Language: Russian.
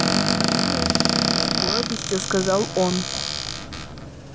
шестнадцать лет с гордостью сказал он